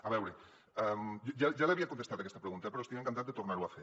a veure ja l’havia contestat aquesta pregunta però estic encantat de tornar ho a fer